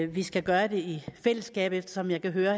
vi skal gøre det i fællesskab eftersom jeg kan høre